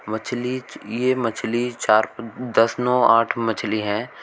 मछली ये मछली चार दस नौ आठ मछलि है।